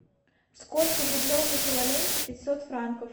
сколько в рублевом эквиваленте пятьсот франков